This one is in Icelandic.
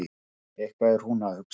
Eitthvað er hún að hugsa.